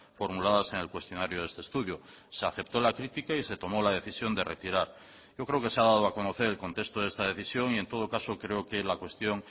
formuladas en el cuestionario de este estudio se aceptó la crítica y se tomó la decisión de retirar yo creo que se ha dado a conocer el contexto de esta decisión y en todo caso creo que la cuestión